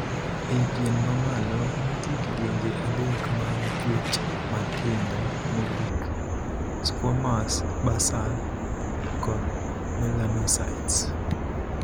Ei pien ma malo, nitie kidienje adek mag chuech matindo mogik: 'squamous', 'basal', kod 'melanocytes'.